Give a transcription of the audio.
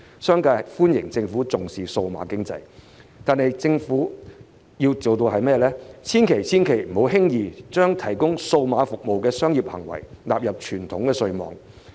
商界對政府重視數碼經濟表示歡迎，但政府千萬、千萬不要輕易將提供數碼服務的商業行為納入傳統稅網。